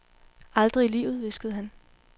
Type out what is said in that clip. Aldrig i livet, hviskede han.